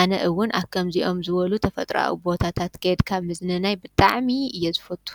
ኣነ እውን ኣብ ከምዚኦ ዝበሉ ተፈጥሮኣዊ ቦታታት ከይድካ ምዝንናይ ብጣዕሚ እየ ዝፈቱ፡፡